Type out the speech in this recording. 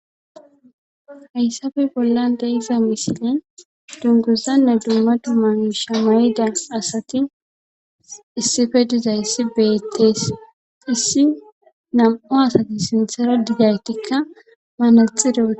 Hayssafe bollande iza misile dunguzanne dumma duma shamayida asati issife diza issi beettes issi nam'u asati sinthera digaytikka manaxireee.